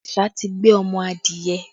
Àṣá ti gbé ọmọ adìẹ